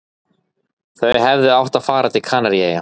Þau hefðu átt að fara til Kanaríeyja.